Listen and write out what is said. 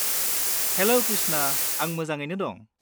हेल' कृष्ना। आं मोजाङैनो दं।